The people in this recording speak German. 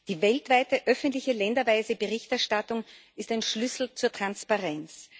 Die weltweite öffentliche länderweise Berichterstattung ist ein Schlüssel zur Transparenz.